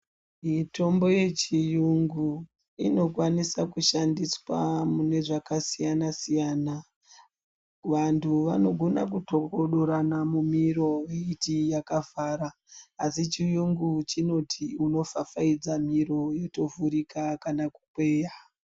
Mitombo yechiyungu inokwanisa kushandiswa mune zvakasiyana-siyana. Vantu vanogona kutokodorana mumiro veyiti yakavhara, asi chiyungu chinoti unopfapfaidza miro yotovhurika kana kukweya.